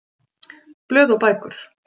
Blöð og bækur